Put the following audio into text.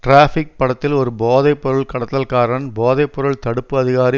traffic படத்தில் ஒரு போதை பொருள் கடத்தல்காரன் போதை பொருள் தடுப்பு அதிகாரி